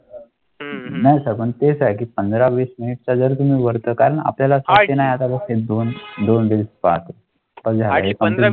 हम्म तेच आहे की मिनिटं जर तुम्ही वर्धा कारण आपल्याला कळले नाही. आता आणि.